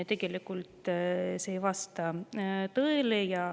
Tegelikult ei vasta see tõele.